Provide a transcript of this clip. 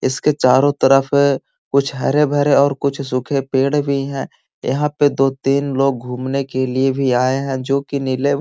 इसके चारो तरफ जो है कुछ हरे-भरे कुछ सूखे पेड़ भी है यहाँ पे दो तीन लोग घूमने के लिए भी आये है जो कि नीले --